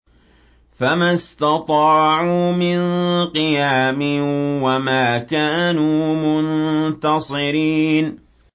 فَمَا اسْتَطَاعُوا مِن قِيَامٍ وَمَا كَانُوا مُنتَصِرِينَ